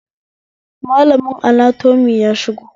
Malamin anatomy ya shigo